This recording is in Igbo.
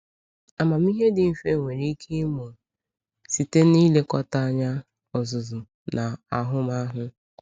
Amamihe dị mfe nwere ike ịmụ site n’ilekọta anya, ọzụzụ, na ahụmahụ.